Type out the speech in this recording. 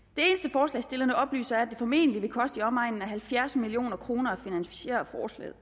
forslagsstillerne oplyser er at det formentlig vil koste i omegnen af halvfjerds million kroner at finansiere forslaget